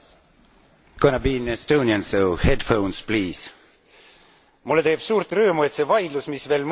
Mulle teeb suurt rõõmu, et see vaidlus, mis veel mõni aeg tagasi näis kui lõppemata lugu, saab täna lahenduse.